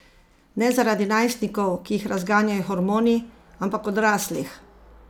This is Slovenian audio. Ne zaradi najstnikov, ki jih razganjajo hormoni, ampak odraslih.